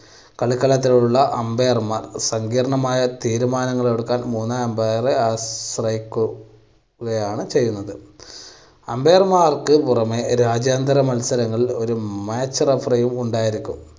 കളിക്കളത്തിൽ ഉള്ള umpire മാർക്ക് സങ്കീർണ്ണമായ തീരുമാനങ്ങൾ എടുക്കാൻ മൂന്നാം umpire റെ ആശ്രയിക്കു~കയാണ് ചെയ്യുന്നത്. umpire മാർക്ക് പുറമേ രാജ്യാന്തര മത്സരങ്ങളിൽ ഒരു match referee യും ഉണ്ടായിരിക്കും.